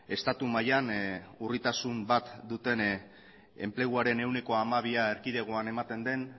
estatu mailan urritasun bat duten enpleguaren ehuneko hamabia erkidegoan ematen den